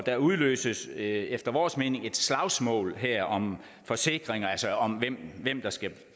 der udløses efter vores mening et slagsmål her om forsikring altså om hvem hvem der skal